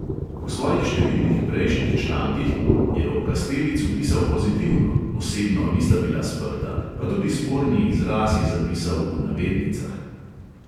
V svojih številnih prejšnjih člankih je o kastelicu pisal pozitivno, osebno nista bila sprta, pa tudi sporni izraz je zapisal v navednicah.